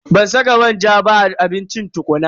Ban saka manja ba a abincin tukuna.